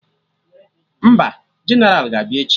Mba? Jeneral ga-abịa echi